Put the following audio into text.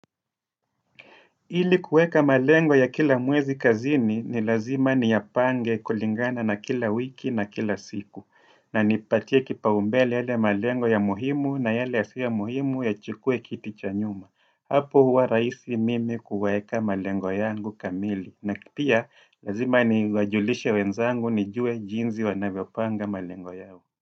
Ili kuweka malengo ya kila mwezi kazini ni lazima niyapange kulingana na kila wiki na kila siku. Na nipatie kipaombele yale malengo ya muhimu na yale yasiyo muhimu ya chukue kiti chanyuma. Hapo huwa rahisi mimi kuweka malengo yangu kamili. Na pia lazima niwajulishe wenzangu nijue jinzi wanavyo panga malengwa yao.